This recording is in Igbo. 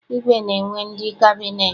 Igwe na-enwe ndị kabịneetị.